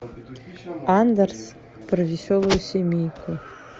андерс про веселую семейку